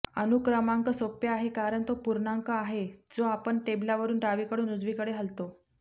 अणू क्रमांक सोपे आहे कारण तो पूर्णांक आहे जो आपण टेबलवरून डावीकडून उजवीकडे हलतो